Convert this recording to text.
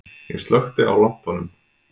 Ég slökkti á lampanum.